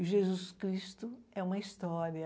E Jesus Cristo é uma história.